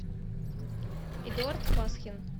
эдуард пасхин